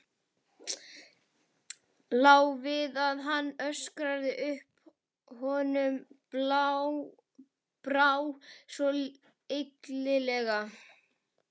Lá við að hann öskraði upp, honum brá svo illilega.